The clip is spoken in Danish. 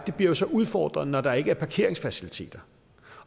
bliver så udfordret når der ikke er parkeringsfaciliteter